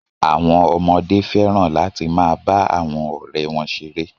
Àwọn ọmọdé fẹ́ràn láti máa bá àwọn ọ̀rẹ́ wọn ṣeré.